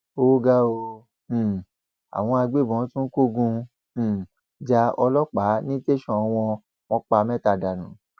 ó ga ọ um àwọn agbébọn tún kógun um ja ọlọpàá ní tẹsán wọn wọn pa mẹta dànù